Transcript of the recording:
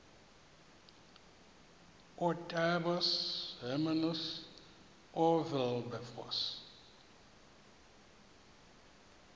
ootaaibos hermanus oowilberforce